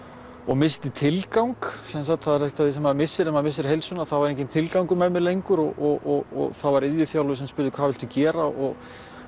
missti tilgang það er eitt af því sem maður missir þegar maður missir heilsuna þá er enginn tilgangur með mér lengur og það var iðjuþjálfi sem spurði hvað viltu gera og